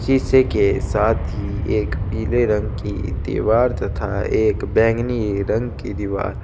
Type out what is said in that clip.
शीशे के साथ ही एक पिले रंग की दिवार तथा एक बैंगनी रंग की दिवार --